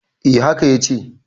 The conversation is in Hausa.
eh haka ya ce